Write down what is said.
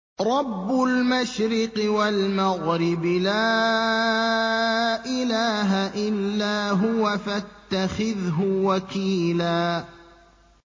رَّبُّ الْمَشْرِقِ وَالْمَغْرِبِ لَا إِلَٰهَ إِلَّا هُوَ فَاتَّخِذْهُ وَكِيلًا